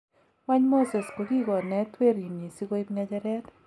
Kwany Muses kokikoneet kwerinyi si koip ngejeret?